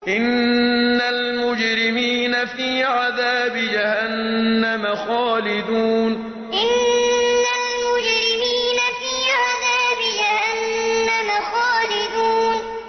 إِنَّ الْمُجْرِمِينَ فِي عَذَابِ جَهَنَّمَ خَالِدُونَ إِنَّ الْمُجْرِمِينَ فِي عَذَابِ جَهَنَّمَ خَالِدُونَ